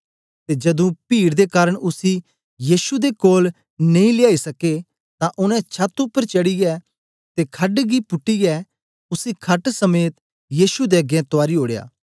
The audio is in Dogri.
ते जदूं पीड दे कारन उसी यीशु दे कोल नेई लेयाई सके तां उनै छत उपर चढ़ीयै ते खड गी पुटीयै उसी खट समेद यीशु दे अगें तुआरी ओड़या